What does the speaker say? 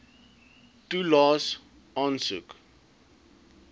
toelaes aansoek